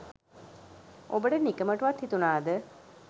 ඔබට නිකමටවත් හිතුනාද